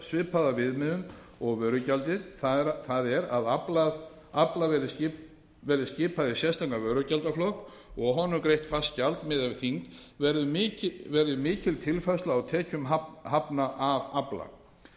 svipaða viðmiðun og vörugjaldið það er að afla verði skipað í sérstakan vörugjaldsflokk og af honum greitt fast gjald miðað við þyngd verður mikil tilfærsla á tekjum hafna af afla